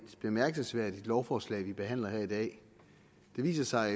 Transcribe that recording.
bemærkelsesværdigt lovforslag vi behandler her i dag det viser sig